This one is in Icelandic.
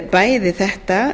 bæði þetta